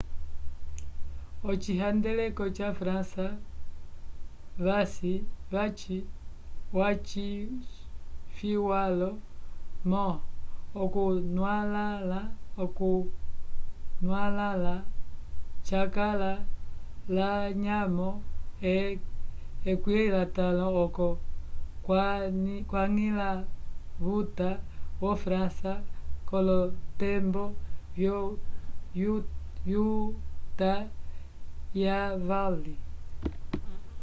ocihandeleko ya frança vvaci ñwalo mo okunwalala cakala lanyamo ye 15 oco wañila vuta yo frança kolotembo yo uta ya vali